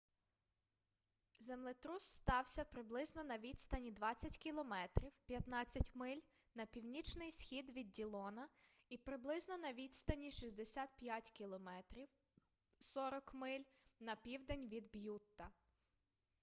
землетрус стався приблизно на відстані 20 км 15 миль на північний схід від діллона і приблизно на відстані 65 км 40 миль на південь від б'ютта